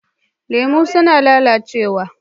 Lemu suna lalacewa.